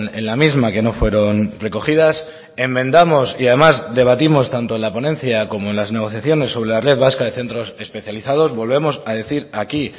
en la misma que no fueron recogidas enmendamos y además debatimos tanto en la ponencia como en las negociaciones sobre la red vasca de centros especializados volvemos a decir aquí